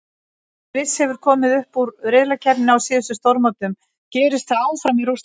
Sviss hefur komist upp úr riðlakeppninni á síðustu stórmótum, gerist það áfram í Rússlandi?